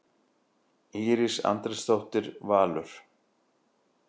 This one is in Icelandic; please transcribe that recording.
Íris Andrésdóttir, Valur.